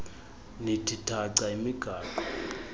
nithi thaca imigaqo